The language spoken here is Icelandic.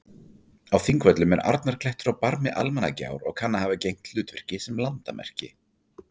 Á Þingvöllum er Arnarklettur á barmi Almannagjár og kann að hafa gegnt hlutverki sem landamerki.